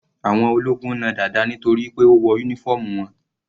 Àwọn ológun na Dada nítorí pé ó wọ uniform wọn.